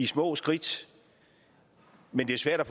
små skridt men det er svært at